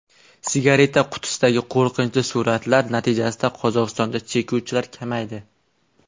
Sigareta qutisidagi qo‘rqinchli suratlar natijasida Qozog‘istonda chekuvchilar kamaydi.